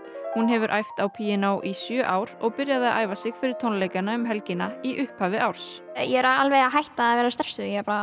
hún hefur æft á píanó í sjö ár og byrjaði að æfa sig fyrir tónleikana um helgina í upphafi árs ég er alveg hætt að vera stressuð